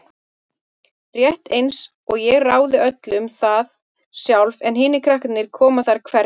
Rétt einsog ég ráði öllu um það sjálf en hinir krakkarnir komi þar hvergi nærri.